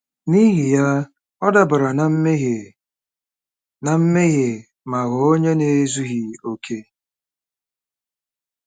N’ihi ya, ọ dabara ná mmehie ná mmehie ma ghọọ onye na-ezughị okè.